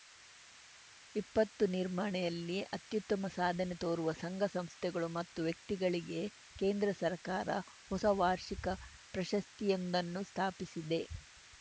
ವಿಪತ್ತು ನಿರ್ವಹಣೆಯಲ್ಲಿ ಅತ್ಯುತ್ತಮ ಸಾಧನೆ ತೋರುವ ಸಂಘ ಸಂಸ್ಥೆಗಳು ಮತ್ತು ವ್ಯಕ್ತಿಗಳಿಗೆ ಕೇಂದ್ರ ಸರ್ಕಾರ ಹೊಸ ವಾರ್ಷಿಕ ಪ್ರಶಸ್ತಿಯೊಂದನ್ನು ಸ್ಥಾಪಿಸಿದೆ